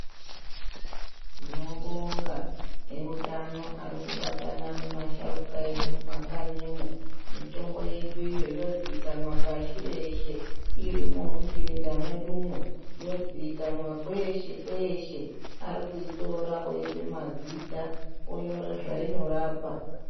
Tinobonga eutano ari kubatana nemasharuka edu mukanyimwo. Mitombo yeduyo yozikinwa pashi reshe irimwo Muchirinda mwedumwo, yozikanwa kweshe kweshe. Ari kuitora oipa mazita onyore zvainorapa.